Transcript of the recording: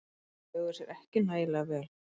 Þeir höguðu sér ekki nægilega vel.